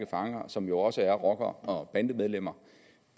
fanger som jo også er rockere og bandemedlemmer